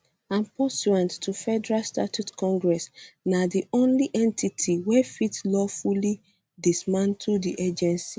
and pursuant to federal statute congress na di only entity wey fit lawfully um dismantle um di agency